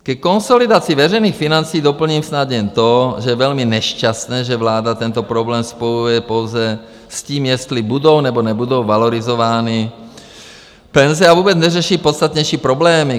Ke konsolidaci veřejných financí doplním snad jen to, že je velmi nešťastné, že vláda tento problém spojuje pouze s tím, jestli budou, nebo nebudou valorizovány penze, a vůbec neřeší podstatnější problémy.